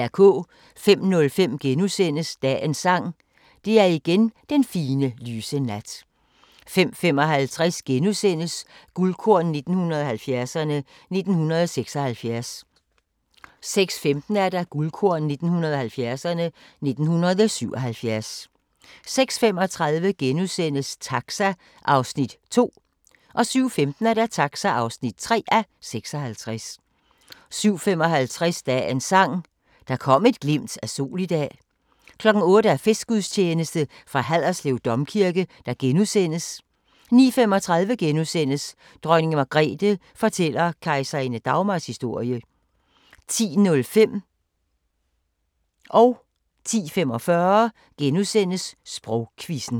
05:05: Dagens Sang: Det er igen den fine, lyse nat * 05:55: Guldkorn 1970'erne: 1976 * 06:15: Guldkorn 1970'erne: 1977 06:35: Taxa (2:56)* 07:15: Taxa (3:56) 07:55: Dagens Sang: Der kom et glimt af sol i dag 08:00: Festgudstjeneste fra Haderslev Domkirke * 09:35: Dronning Margrethe fortæller kejserinde Dagmars historie * 10:05: Sprogquizzen * 10:45: Sprogquizzen *